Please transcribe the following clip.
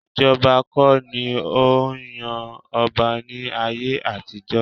Ìjọba kọ́ ni ó ń yan ọba ní ayé àtijọ́